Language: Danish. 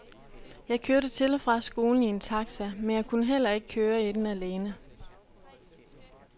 Jeg kørte til og fra skolen i en taxa, men jeg kunne heller ikke køre i den alene.